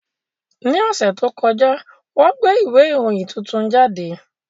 Ní ọ̀sẹ̀ tó kọjá, wọ́n gbé ìwé ìròyìn tuntun jáde